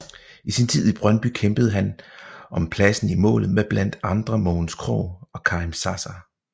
I sint tid i Brøndby kæmpede han om pladsen i målet med blandt andre Mogens Krogh og Karim Zaza